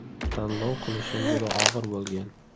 Tanlov qilishim juda og‘ir bo‘lgan.